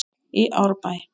í Árbæ.